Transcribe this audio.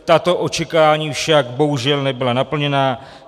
Tato očekávání však bohužel nebyla naplněna.